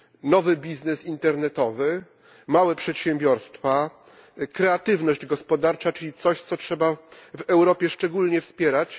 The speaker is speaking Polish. Nowy biznes internetowy, małe przedsiębiorstwa, kreatywność gospodarcza, czyli coś, co trzeba w Europie szczególnie wspierać.